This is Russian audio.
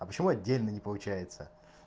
а почему отдельно не получается